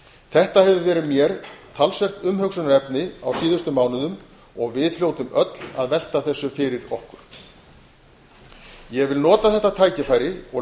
þetta hefur verið mér talsvert umhugsunarefni á síðustu mánuðum og við hljótum öll að velta þessu fyrir okkur ég vil nota þetta tækifæri og